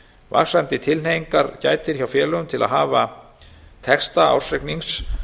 vaxandi tilhneigingar gætir hjá félögum til að hafa texta ársreiknings